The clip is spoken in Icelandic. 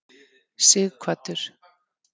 Sighvatur